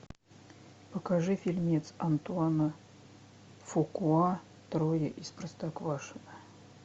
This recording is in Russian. покажи фильмец антуана фукуа трое из простоквашино